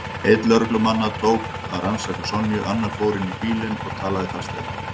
Einn lögreglumannanna tók að rannsaka Sonju, annar fór inn í bílinn og talaði í talstöðina.